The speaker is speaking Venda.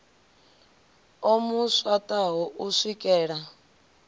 o mu swaṱaho u swikela